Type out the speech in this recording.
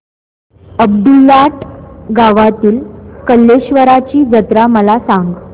अब्दुललाट गावातील कलेश्वराची जत्रा मला सांग